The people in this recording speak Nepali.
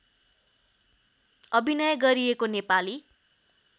अभिनय गरिएको नेपाली